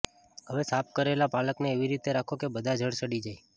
હવે સાફ કરેલા પાલકને એવી રીતે રાખો કે બધા જળ સડી જાય